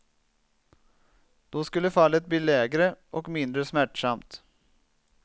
Då skulle fallet bli lägre och mindre smärtsamt.